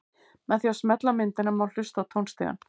Með því að smella á myndina má hlusta á tónstigann.